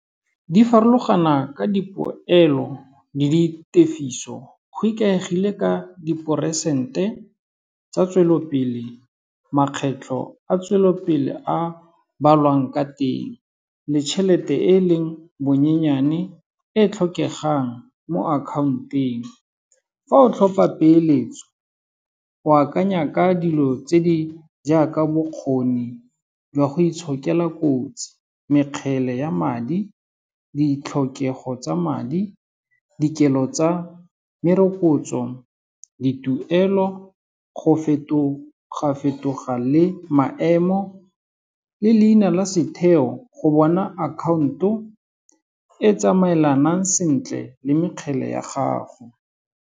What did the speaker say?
Di farologana ka dipoelo le di tefiso, go ikaegile ka di-percent tsa tswelelopele, makgetlho a tswelelopele a balwang ka teng le chelete e leng bonyenyane e tlhokegang mo account-eng. Fa o tlhopa peeletso o akanya ka dilo tse di jaaka bokgoni jwa go itshokela kotsi, mekgele ya madi, ditlhokego tsa madi, dikelo tsa merokotso, dituelo go fetoga fetoga le maemo le leina la setheo go bona account-o e tsamaelanang sentle le mekgele ya gago.